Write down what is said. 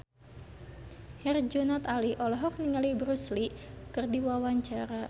Herjunot Ali olohok ningali Bruce Lee keur diwawancara